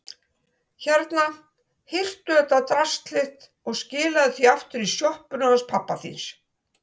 Hérna, hirtu þetta drasl þitt og skilaðu því aftur í sjoppuna hans pabba þíns.